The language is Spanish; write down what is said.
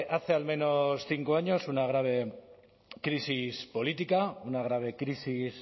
hace al menos cinco años una grave crisis política una grave crisis